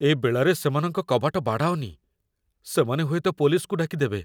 ଏ ବେଳାରେ ସେମାନଙ୍କ କବାଟ ବାଡ଼ାଅନି । ସେମାନେ ହୁଏତ ପୋଲିସ୍‌କୁ ଡାକିଦେବେ ।